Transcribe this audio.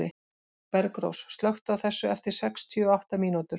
Bergrós, slökktu á þessu eftir sextíu og átta mínútur.